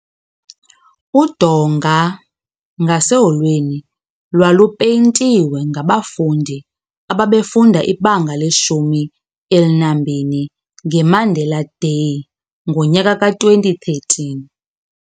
Udonga ngaseholweni lwalupayintiwe ngabafundi ababefunda ibanga leshumi elinambini nge Mandela Day ngonyaka ka2013.